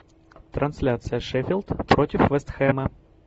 трансляция шеффилд против вест хэма